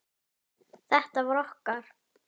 Þetta var okkar.